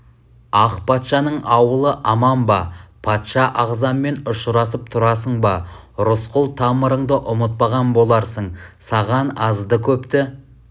ақ патшаның ауылы аман ба патша ағзаммен ұшырасып тұрасың ба рысқұл тамырыңды ұмытпаған боларсың саған азды-көпті